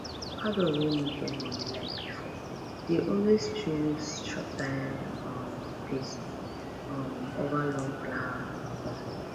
adult wey no get money like before dey always choose short term um peace um over long plan um